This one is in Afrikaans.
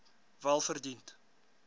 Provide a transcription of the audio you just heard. welverdiend